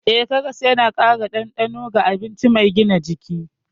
Eh, karas yana ƙara dandano ga abinci mai gina jiki.